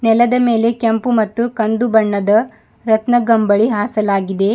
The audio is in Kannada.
ನೆಲದ ಮೇಲೆ ಕೆಂಪು ಮತ್ತು ಕಂದು ಬಣ್ಣದ ರತ್ನಗಂಬಳಿ ಹಾಸಲಾಗಿದೆ.